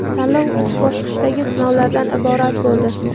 Tanlov uch bosqichdagi sinovlardan iborat bo‘ldi.